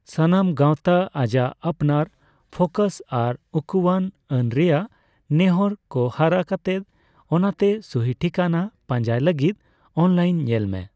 ᱥᱟᱱᱟᱢ ᱜᱟᱣᱛᱟ ᱟᱡᱟᱜ ᱟᱯᱱᱟᱨ ᱯᱷᱳᱟᱭᱮ ᱟᱨ ᱩᱠᱩᱣᱟᱱ ᱟᱹᱱ ᱨᱮᱭᱟᱜ ᱱᱮᱦᱚᱨ ᱠᱚ ᱦᱚᱨᱟ ᱠᱟᱛᱮ, ᱚᱱᱟᱛᱮ ᱥᱩᱦᱤ ᱴᱷᱤᱠᱟᱹᱱᱟ ᱯᱟᱸᱡᱟᱭ ᱞᱟᱹᱜᱤᱫ ᱚᱱᱞᱟᱭᱤᱱ ᱧᱮᱞ ᱢᱮ ᱾